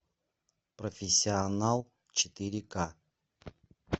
профессионал четыре ка